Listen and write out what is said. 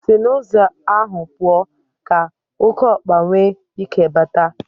Si n'ụzọ ahụ pụọ, ka okeokpa nwee ike bata.